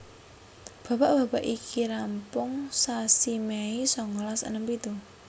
Babak babak iki rampung sasi Mei songolas enem pitu